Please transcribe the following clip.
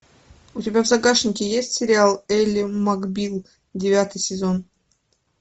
у тебя в загашнике есть сериал элли макбил девятый сезон